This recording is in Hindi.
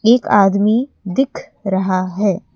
एक आदमी दिख रहा है।